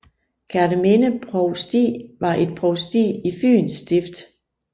Kerteminde Provsti var et provsti i Fyens Stift